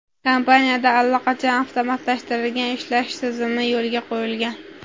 Kompaniyada allaqachon avtomatlashtirilgan ishlash tizimi yo‘lga qo‘yilgan.